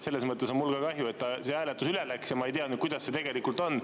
Selles mõttes on mul ka kahju, et see hääletus üle läks, ja ma ei tea nüüd, kuidas see tegelikult on.